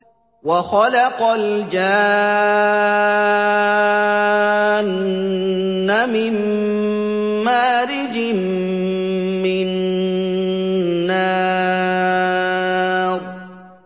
وَخَلَقَ الْجَانَّ مِن مَّارِجٍ مِّن نَّارٍ